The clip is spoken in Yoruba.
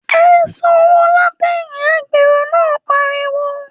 ‘E̩ sanwó látè̩yìn!’ agbèrò náà pariwo